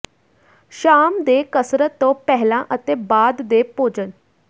ਸ਼ਾਮ ਦੇ ਕਸਰਤ ਤੋਂ ਪਹਿਲਾਂ ਅਤੇ ਬਾਅਦ ਦੇ ਭੋਜਨ